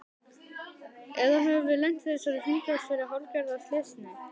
Eða höfum við lent í þessari hringrás fyrir hálfgerða slysni?